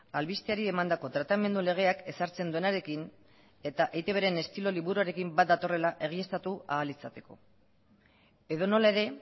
albisteari emandako tratamendu legeak ezartzen duenarekin eta eitbren estilo liburuarekin bat datorrela egiaztatu ahal izateko edonola ere